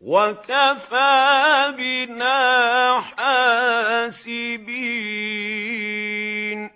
وَكَفَىٰ بِنَا حَاسِبِينَ